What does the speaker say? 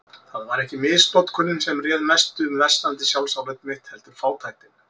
Það var ekki misnotkunin sem réð mestu um versnandi sjálfsálit mitt, heldur fátæktin.